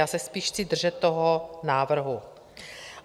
Já se spíš chci držet toho návrhu.